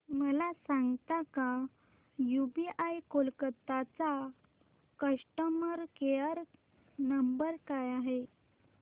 मला सांगता का यूबीआय कोलकता चा कस्टमर केयर नंबर काय आहे